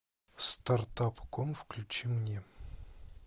стартап ком включи мне